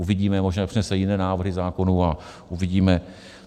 Uvidíme, možná přinese jiné návrhy zákonů a uvidíme.